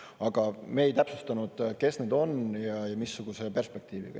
Aga me ei täpsustanud, kes need on ja missuguse perspektiiviga.